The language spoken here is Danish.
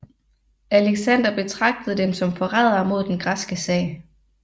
Alexander betragtede dem som forrædere mod den græske sag